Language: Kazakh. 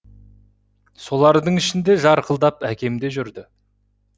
солардың ішінде жарқылдап әкем де жүрді